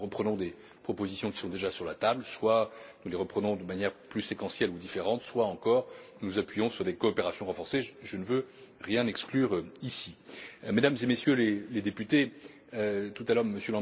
Soit nous reprenons des propositions qui sont déjà sur la table, soit nous les reprenons de manière plus séquentielle ou différente, soit encore nous nous appuyons sur des coopérations renforcées. Je ne veux rien exclure ici. Mesdames et Messieurs les députés, tout à